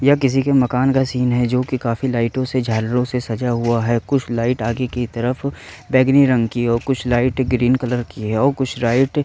यह किसी के मकान का सीन है जोकि काफी लाइटों से झालरों से सजा हुआ है कुछ लाइट आगे की तरफ बैंगनी रंग की है और कुछ लाइट ग्रीन कलर की है और कुछ लाइट --